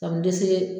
Ka n dɛsɛ